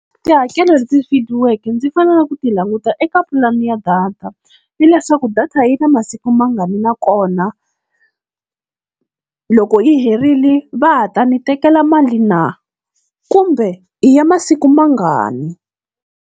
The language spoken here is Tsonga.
Tihakelo leti fihliweke ndzi faneleke ku ti languta eka pulani ya data, ni leswaku data yi na masiku mangani na kona, loko yi herile va ha ta ni tekela mali na, kumbe i ya masiku mangani.